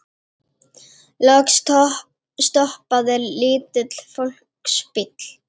Loks stoppaði lítill fólksbíll.